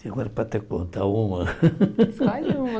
Agora para até contar uma. Escolhe uma